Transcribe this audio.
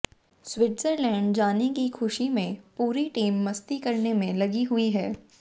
Switzerland जाने की खुशी में पूरी टीम मस्ती करने में लगी हुई है